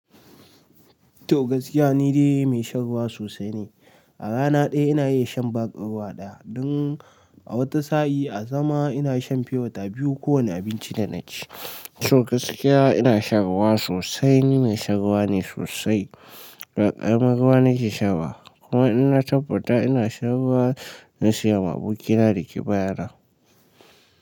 To gaskiya ni dai mai shan ruwa sosai ne. A rana daya ina iya shan bag din ruwa daya. Don a wata sa'a a sama ina shan pure water biyu ko wane abinci da na ci. To gaskiya ina shan ruwa sosai, ni mai shan ruwa ne sosai. Ba karamar ruwa na ke sha ba. Kuma in na tabbata ina shan ruwa na siya ma abokina da ke baya na.